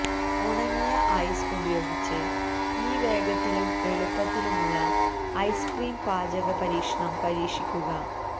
ഉണങ്ങിയ ഐസ് ഉപയോഗിച്ച് ഈ വേഗത്തിലും എളുപ്പത്തിലുമുള്ള ഐസ്ക്രീം പാചക പരീക്ഷണം പരീക്ഷിക്കുക